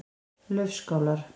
Laufskálar